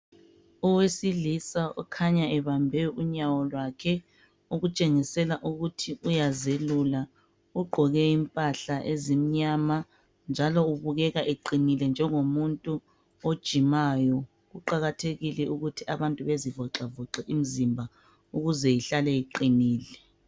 Owesilisa okhanya ebambe unyawo lwakhe okutshengisela ukuthi uyazelula. Ugqoke impahla ezimnyama njalo ubukeka eqinile njengomuntu ojimayo. Kuqakathekile ukuba abantu bezivoxavoxe imzimba ukuze ihlale iqinile.